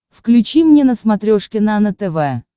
включи мне на смотрешке нано тв